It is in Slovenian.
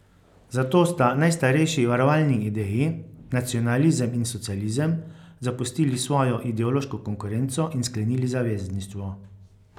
Zato sta najstarejši varovalni ideji, nacionalizem in socializem, zapustili svojo ideološko konkurenco in sklenili zavezništvo.